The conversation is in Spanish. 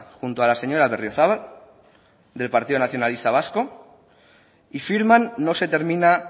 junto a la señora berriozabal del partido nacionalista vasco y firman no se termina